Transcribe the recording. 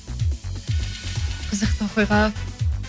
қызықты оқиға